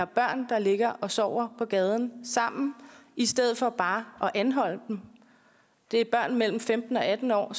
børn der ligger og sover på gaden i stedet for bare at anholde dem det er børn mellem femten og atten år